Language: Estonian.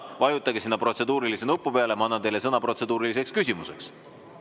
Vajutage sinna protseduurilise küsimuse nupu peale ja ma annan teile sõna protseduuriliseks küsimuseks.